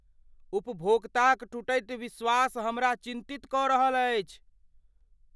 उपभोक्ताक टूटैत विश्वास हमरा चिन्तित कऽ रहल अछि।